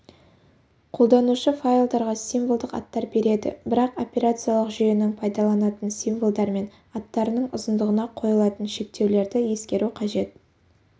қолданушы файлдарға символдық аттар береді бірақ операциялық жүйенің пайдаланатын символдар мен аттарының ұзындығына қойылатын шектеулерді ескеру қажет